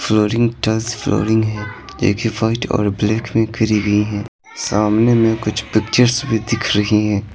Flooring tiles flooring है जो कि वाइट और ब्लैक में करी गई है सामने में कुछ पिक्चर्स भी दिख रही हैं।